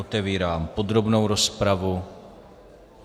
Otevírám podrobnou rozpravu.